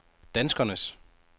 danskernes